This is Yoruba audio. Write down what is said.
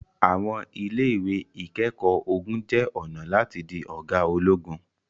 àwọn ile-iwe ikẹkọ ogun jẹ ọna lati di oga ologun